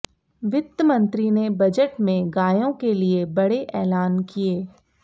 वित्त मंत्री ने बजट में गायों के लिए बड़े ऐलान किए